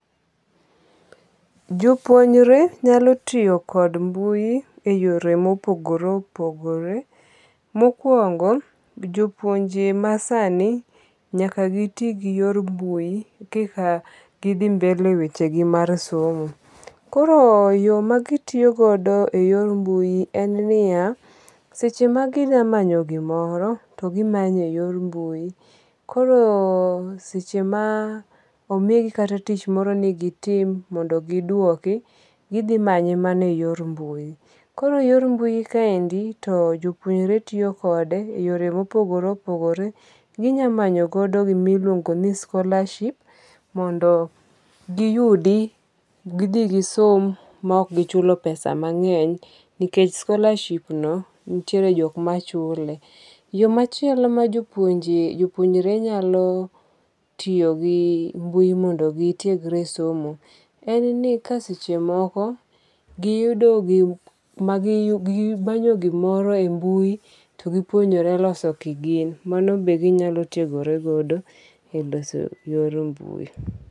Jopuonjre nyalo tiyo kod mbui e yore mopogore opogore. Mokuongo jopuonje masani nyaka gi ti gi yor mbui kika gi dhi mbele weche gi mar somo. Koro yo magi tiyogodo e yor mbui en niya seche ma ginya manyo gimoro togimanyo e yor mbui. Koro seche ma omigi kata tich moro nigitim mondo giduoki gidhi manye mana e yor mbui. Koro e yor mbui kaendi to jopuonje tiyo kode e yore mopogore opogore. Ginya manyo godo gimiluongo ni scholarship mondo giyudi gidhi gi som maok gichulo pesa mang'eny nikech scholarship no nitiere jok ma chule. Yo machielo ma jopuonje jopuonjre nyalo tiyo gi mbui mondo gitiegre somo en ni ka seche moko giyudo gimanyo gimoro e yi mbui to gipuonjore loso kigin. Mano be ginyalo tiegoregodo e loso yor mbui.